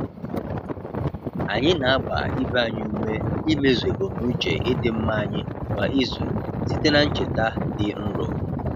Anyị na-agba ibe anyị ume imezu ebumnuche ịdị mma anyị kwa izu site na ncheta dị nro.